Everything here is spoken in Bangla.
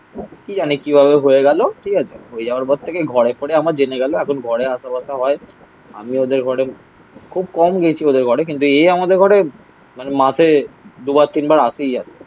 কি জানি কিভাবে হয়ে গেলো. ঠিক আছে. হয়ে যাওয়ার পর থেকে ঘরে ফরে আমার জেনে গেল. এখন ঘরে আশা বাসা হয়. আমি ওদের ঘরে খুব কম গেছি ওদের ঘরে. কিন্তু এ আমাদের ঘরে মানে মাসে দুবার তিনবার আসেই আসে.